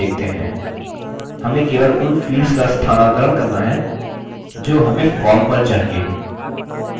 हमें केवल उन fields का स्थानांतरण करना है जो हमें form पर चाहिए